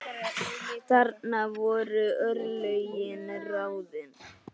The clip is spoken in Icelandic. Þarna voru örlögin ráðin.